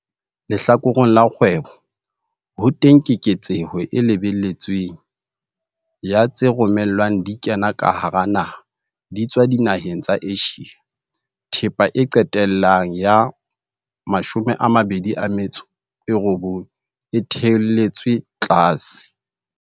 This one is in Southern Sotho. Lehlakoreng la kgwebo, ho teng keketseho e lebelletsweng ya tse romellwang di kena ka hara naha di etswa dinaheng tsa Asia. Thepa e qetellang ya 2019 e theoletswe tlase.